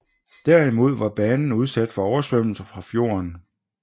Derimod var banen udsat for oversvømmelse fra fjorden